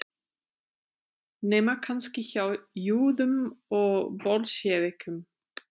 Nema kannski hjá júðum og bolsévikum.